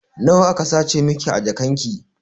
Nawa aka sace miki a jakan ki?